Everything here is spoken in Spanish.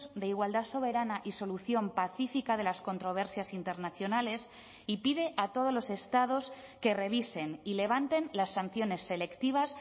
de igualdad soberana y solución pacífica de las controversias internacionales y pide a todos los estados que revisen y levanten las sanciones selectivas